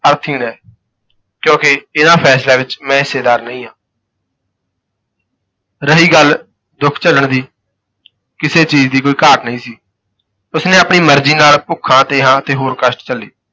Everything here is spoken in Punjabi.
ਅਰਥਹੀਣ ਹੈ ਕਿਉਂਕਿ ਇਨ੍ਹਾਂ ਫੈਸਲਿਆਂ ਵਿਚ ਮੈਂ ਹਿੱਸੇਦਾਰ ਨਹੀਂ ਹਾਂ ਰਹੀ ਗੱਲ ਦੁਖ ਝੱਲਣ ਦੀ, ਕਿਸੇ ਚੀਜ਼ ਦੀ ਕੋਈ ਘਾਟ ਨਹੀਂ ਸੀ, ਉਸ ਨੇ ਆਪਣੀ ਮਰਜ਼ੀ ਨਾਲ ਭੁੱਖਾਂ ਤ੍ਰੇਹਾਂ ਅਤੇ ਹੋਰ ਕਸ਼ਟ ਝੱਲੇ।